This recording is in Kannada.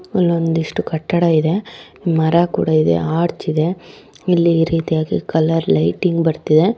ಇಲ್ಲಿ ಒಂದಿಷ್ಟು ಕಟ್ಟಡ ಇದೆ ಮರ ಕೂಡ ಇದೆ ಆರ್ಚ್‌ ಇದೆ ಇಲ್ಲಿ ಈ ರೀತಿಯಾಗಿ ಕಲರ್‌ ಲೈಟಿಂಗ್‌ ಬರ್ತಾ ಇದೆ.